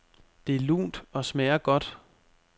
Det er lunt og smager godt.